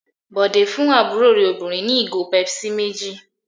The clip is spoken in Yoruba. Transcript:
Bọ̀dé fún àbúrò rẹ̀ obìnrin ní ìgò Pepsi méjì.